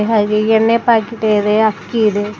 ಹಾಗೆ ಎಣ್ಣೆ ಪ್ಯಾಕೆಟ್ ಇದೆ ಅಕ್ಕಿ ಇದೆ.